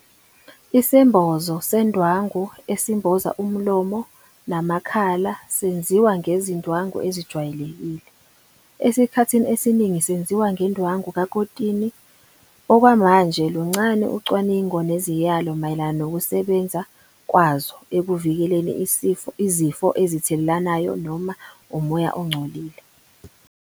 Isembozo sendwangu esimboza umlomo namakhala senziwa ngezindwangu eziwayelekile, esikhathini esiningi senziwa ngendwangu kakotini. Okwamanje luncane ucwaningo neziyalo mayelana nokusebenza kwazo ekuvikeleni izifo ezithelelanayo noma umoya ongcolile.